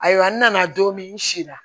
Ayiwa n nana don min n si la